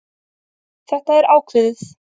Þetta er ákveðið.